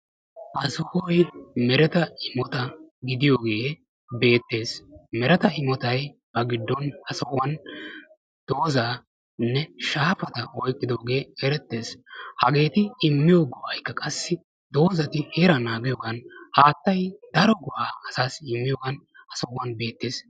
Ha sohoy meretta immota gidiyoge beetees. Meretta immotya ba gidon ha sohuwan dozane shaafata oyqqidoge erettees. Hageeti immiyo go'ay qassi dozati heeraa naagiyogan haattay daro go'a asaasi immiyogan ha sohuwan beetees.